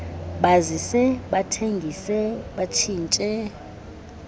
bazise bathengise batshintshe